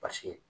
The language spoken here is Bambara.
Paseke